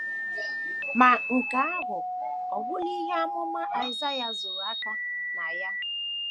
Ma, nke ahụ ọ̀ gwụla ihe amụma Aịsaịa zoro aka na ya?